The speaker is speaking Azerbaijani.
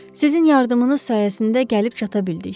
Sizin yardımınız sayəsində gəlib çata bildik.